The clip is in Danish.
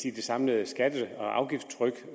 sige det samlede skatte og afgiftstryk